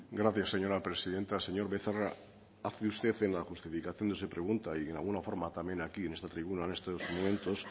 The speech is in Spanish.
gracias señora presidenta señor becerra hace usted en la justificación de su pregunta y de alguna forma también aquí en esta tribuna en estos momentos